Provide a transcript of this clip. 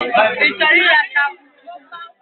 Ị chọrọ ịracha akwụ chukwu?